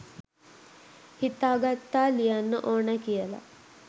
හිතා ගත්තා ලියන්න ඕනෑ කියලා